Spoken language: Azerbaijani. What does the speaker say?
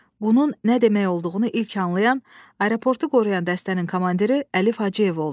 Bunun nə demək olduğunu ilk anlayan aeroportu qoruyan dəstənin komandiri Əlif Hacıyev oldu.